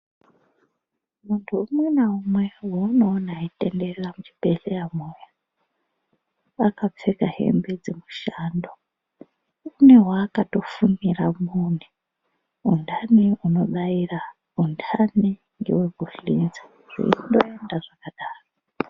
Muntu umwe naumwe vaunoona eitenderera muzvibhedhleyamwo. Akapfeka hembe dzemushando une vakatofumira mune undani unobaira undani ngevekushinza, kundoenda zvakadaro.